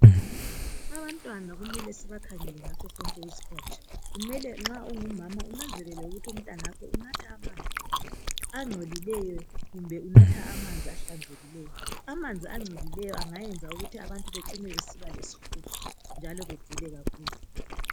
Abantwana kumele sibakhangele ngaso sonke isikhathi kumele nxa ungumama unanzelele ukuthi umntanakho unatha amanzi agcolileyo kumbe unatha amanzi ehlanzekileyo amanzi agcolileyo engenza ukuthi abantu bacine besiba lesihudo njalo begule kakhulu.